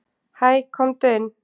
"""Hæ, komdu inn."""